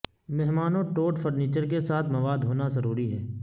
مہمانوں ٹوٹ فرنیچر کے ساتھ مواد ہونا ضروری ہے